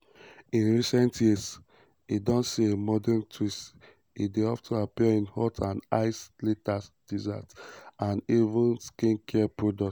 in recent years e don see a modern twist e dey of ten appear in hot and iced lattes desserts and and even skincare products.